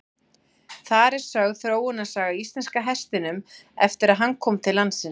Þar er sögð þróunarsaga íslenska hestinum eftir að hann kom til landsins.